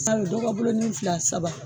sayo dɔ ka boloni filɛ a saba